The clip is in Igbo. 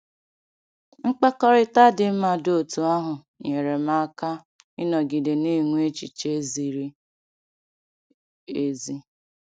Mkpakọrịta dị mma dị otú ahụ nyeere m aka ịnọgide na-enwe echiche ziri ezi.